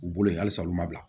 U bolo yen halisa olu ma bila